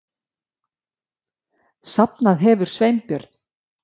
Safnað hefur Sveinbjörn